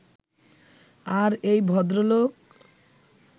আর এই ভদ্রলোক